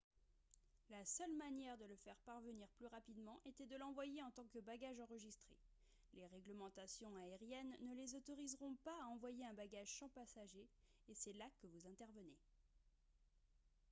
la seule manière de le faire parvenir plus rapidement était de l'envoyer en tant que bagage enregistré les réglementations aériennes ne les autoriseront pas à envoyer un bagage sans passager et c'est là que vous intervenez